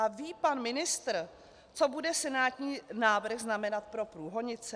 A ví pan ministr, co bude senátní návrh znamenat pro Průhonice?